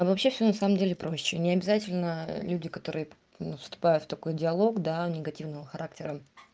а вообще все на самом деле проще необязательно люди которые ну вступают в такой диалог да негативного характера